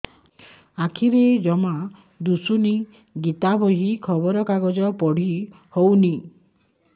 ଆଖିରେ ଜମା ଦୁଶୁନି ଗୀତା ବହି ଖବର କାଗଜ ପଢି ହଉନି